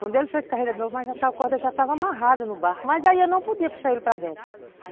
Quando ele fez carreira de novo, a corda já estava amarrada no barco, mas aí eu não podia puxar ele para dentro.